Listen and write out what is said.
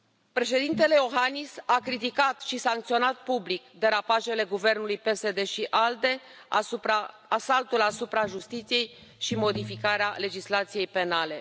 Președintele Iohannis a criticat și sancționat public derapajele guvernului PSD ALDE, asaltul asupra justiției și modificarea legislației penale.